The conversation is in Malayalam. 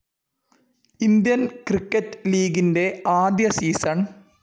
ഇന്ത്യൻ ക്രിക്കറ്റ്‌ ലീഗിന്റെ ആദ്യ സീസൺ.